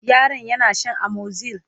yaron yana Shan amoxyl